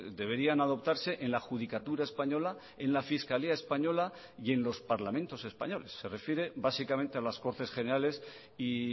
deberían adoptarse en la adjudicatura española en la fiscalía española y en los parlamentos españoles se refiere básicamente a las cortes generales y